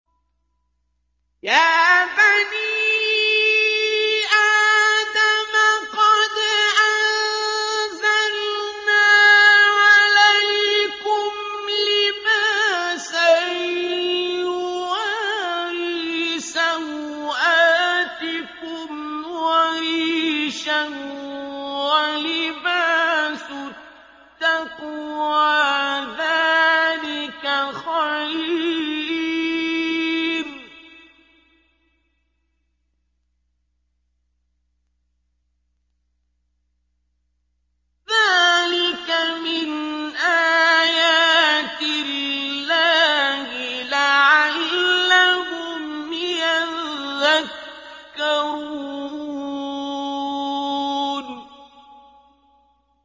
يَا بَنِي آدَمَ قَدْ أَنزَلْنَا عَلَيْكُمْ لِبَاسًا يُوَارِي سَوْآتِكُمْ وَرِيشًا ۖ وَلِبَاسُ التَّقْوَىٰ ذَٰلِكَ خَيْرٌ ۚ ذَٰلِكَ مِنْ آيَاتِ اللَّهِ لَعَلَّهُمْ يَذَّكَّرُونَ